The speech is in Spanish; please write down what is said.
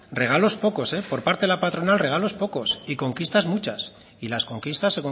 regalos pocos por parte de la patronal regalos pocos y conquistas muchas y las conquistas